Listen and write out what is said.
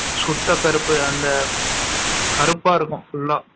சுத்த கருப்பு அந்த கருப்பா இருக்கும் fulla ஆ